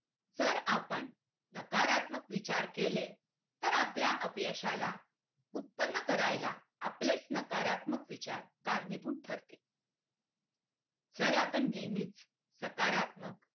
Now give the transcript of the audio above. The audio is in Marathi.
जर आपण नकारात्मक विचार केले तर आपल्या अपयशाला उत्पन्न करायला आपलेच नकारात्मक विचार कारणीभूत ठरतील तर आपण नेहमी सकारात्मक